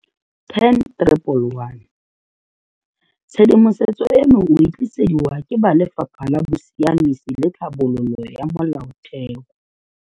10111. Tshedimosetso eno o e tlisediwa ke ba Lefapha la Bosiamisi le Tlhabololo ya Molaotheo.